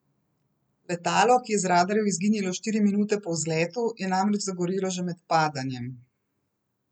Letalo, ki je z radarjev izginilo štiri minute po vzletu, je namreč zagorelo že med padanjem.